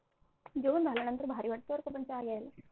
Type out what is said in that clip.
जेवण झाल्यानंतर भारी वाटतं बरं का पण चहा घ्यायला